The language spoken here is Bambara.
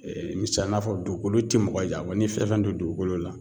Ee misaliya n'a fɔ dukolo ti mɔgɔ janfa wa n'i ye fɛn fɛn don dugukolo la